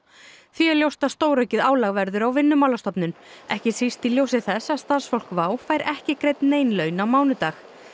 því er ljóst að stóraukið álag verður á Vinnumálastofnun ekki síst í ljósi þess að starfsfólk WOW fær ekki greidd nein laun á mánudag